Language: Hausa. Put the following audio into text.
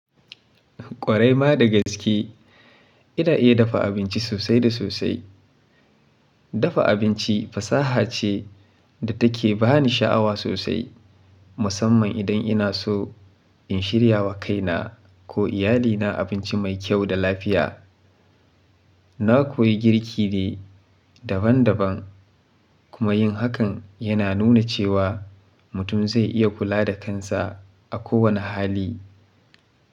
Ƙwarai ma da gaske, ina iya dafa abinci sosai da sosai. Dafa abinci fasaha ce da take bani sha'awa sosai, musamman idan ina so in shirya wa kaina ko iyalina abinci mai kyau da lafiya. Na koyi girki ne daban daban kuma yin hakan yana nuna cewa mutum zai iya kula da kansa a kowanne hali.